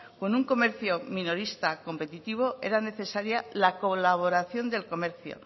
con un comercio minorista competitivo era necesaria la colaboración del comercio